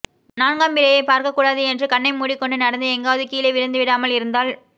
நான்காம்பிறையைப் பார்க்கக் கூடாது என்று கண்ணை மூடிக் கொண்டு நடந்து எங்காவது கீழே விழுந்து விடாமல் இருந்தால்